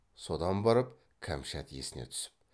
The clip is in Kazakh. содан барып кәмшат есіне түсіп